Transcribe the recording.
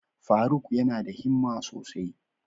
Faruk yana da himma sosai.